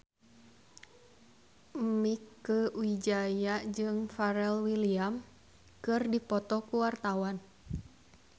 Mieke Wijaya jeung Pharrell Williams keur dipoto ku wartawan